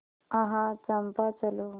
आह चंपा चलो